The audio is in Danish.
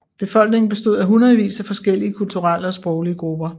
Befolkningen bestod af hundredvis af forskellige kulturelle og sproglige grupper